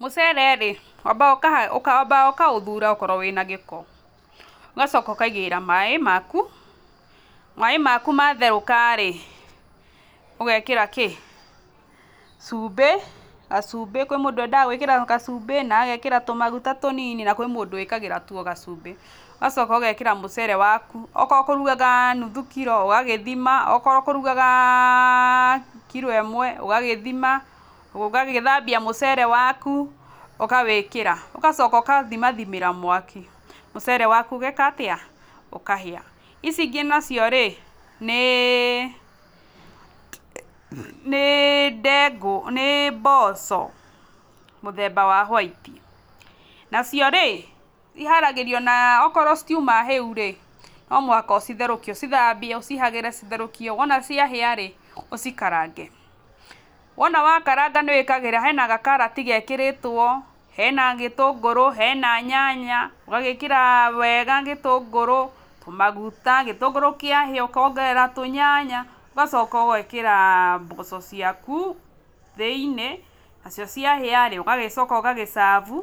Mũcere rĩ, wambaga ũkaha wambaga ũkaũthura okorwo wĩna gĩko ũgacoka ũkaigĩrĩra maĩ maku, maĩ maku matherũka rĩ ũgekĩra kĩ, cumbĩ gacumbĩ, kwĩ mũndũ wendaga gwĩkĩra gacumbĩ na agekĩra tũmaguta tũnini na kwĩ mũndũ wĩkagĩra tu o gacumbĩ, ũgacoka ũgekĩra mũcere waku, akorwo ũkũrugaga nuthu kiro ũgagĩthima, okorwo ũkũrugagaaa kiro ĩmwe ũgagĩthima, ũgagĩthambia mũcere waku ũkawĩkĩra, ũgacoka ũkathimathimĩra mwaki, mũcere waku ũgeka atĩa, ũkahĩa. Ici ingĩ nacio rĩ nĩĩ nĩĩ ndengũ, nĩ mboco mũthemba wa white, nacio rĩ iharagĩrĩrio na okorwo citiuma hĩu rĩ, nomũhaka ũcitherũkie, ũcithambie ũcihagĩre citherũkie, wona ciahĩa rĩ ũcikarange, wona wakaranga nĩwĩkagĩra hena gakarati gekĩrĩtũo, hena gĩtũngũrũ, hena nyanya, ũgagĩkĩra wega gĩtũngũrũ, maguta, gĩtũngũrũ kĩahĩa ũkongerera tũnyanya, ũgacoka ũgekĩra mboco ciaku thĩ-inĩ, nacio ciahĩa rĩ ũgagĩcoka ũgagĩ serve